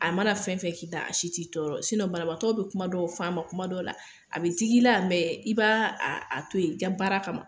A mana fɛn fɛn k'i la, a si ti tɔɔrɔ sin baramatɔ bɛ kuma dɔw faama ma kuma dɔw la a bɛ d i la yan i b'a a to yen ja baara kama ma